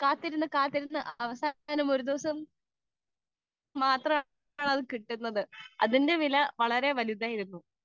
speaker 2 കാത്തിരുന്ന് കാത്തിരുന്ന് അവസാനം ഒരു ദിവസം മാത്രമാണ് കിട്ടുന്നത് അതിന്റെ വില വളരെ വലുതായിരുന്നു